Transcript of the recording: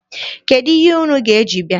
Kedụ ihe unu ga-eji bịa?